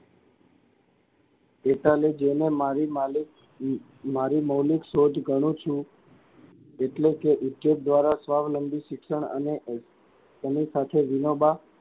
એટલે જેને મારી માલિક મારી મૌલિક સોચ ગણું છું એટલે કે દ્વારા સ્વાવલંબી શિક્ષણ અને તેની સાથે વિનોબાં,